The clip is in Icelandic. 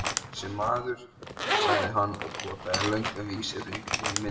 Þessi maður, sagði hann og potaði löngum vísifingri í myndina.